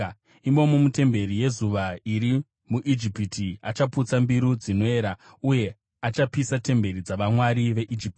Imomo, mutemberi yezuva iri muIjipiti, achaputsa mbiru dzinoera uye achapisa temberi dzavamwari veIjipiti.’ ”